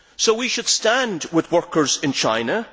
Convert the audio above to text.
We should stand with workers in China.